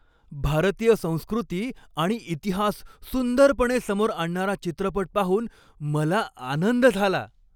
भारतीय संस्कृती आणि इतिहास सुंदरपणे समोर आणणारा चित्रपट पाहून मला आनंद झाला.